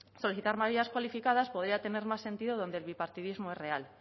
solicitar mayorías cualificadas podría tener más sentido donde el bipartidismo es real